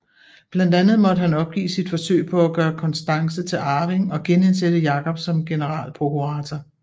Blandt andet måtte han opgive sit forsøg på at gøre Constance til arving og genindsætte Jakob som generalprokurator